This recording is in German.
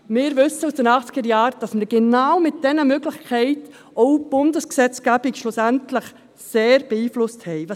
Wir wissen aus den Achtzigerjahren, dass wir schlussendlich genau mit diesen Möglichkeiten auch die Bundesgesetzgebung stark beeinflusst haben.